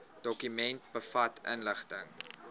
dokument bevat inligting